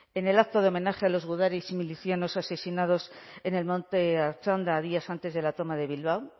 en el acto de homenaje a los gudaris y milicianos asesinados en el monte artxanda días antes de la toma de bilbao